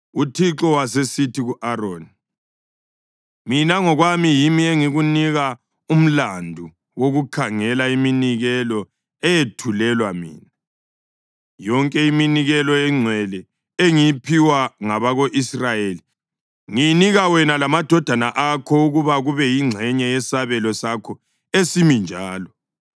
UThixo wasesithi ku-Aroni, “Mina ngokwami yimi engikunike umlandu wokukhangela iminikelo eyethulelwa mina, yonke iminikelo engcwele engiyiphiwa ngabako-Israyeli ngiyinika wena lamadodana akho ukuba kube yingxenye yesabelo sakho esimi njalo.